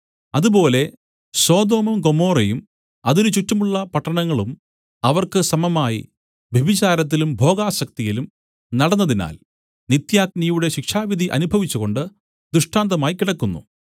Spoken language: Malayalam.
അതുപോലെ സൊദോമും ഗൊമോറയും അതിന് ചുറ്റുമുള്ള പട്ടണങ്ങളും അവർക്ക് സമമായി വ്യഭിചാരത്തിലും ഭോഗാസക്തിയിലും നടന്നതിനാൽ നിത്യാഗ്നിയുടെ ശിക്ഷാവിധി അനുഭവിച്ചുകൊണ്ട് ദൃഷ്ടാന്തമായി കിടക്കുന്നു